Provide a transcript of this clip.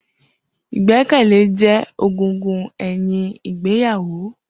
Igbẹkẹlẹ jẹ ẹgúngún ẹyin Ìgbeyàwo.